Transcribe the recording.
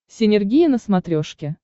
синергия на смотрешке